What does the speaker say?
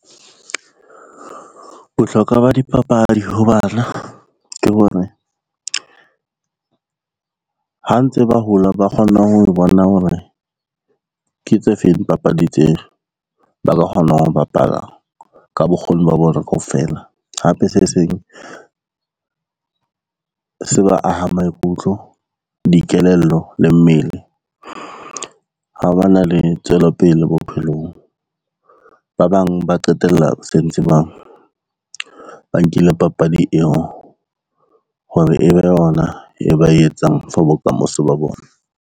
Bohlokwa ba dipapadi ho bana ke hore, ha ntse ba hola ba kgona ho bona hore ke tse feng dipapadi tse ba ka kgonang ho bapala ka bokgoni ba bona kaofela, hape se seng se ba ahang maikutlo, dikelello le mmele ha ba na le tswelopele bophelong. Ba bang ba qetella ba sentse ba nkile papadi eo hore e be yona e ba e etsang for bokamoso ba bona.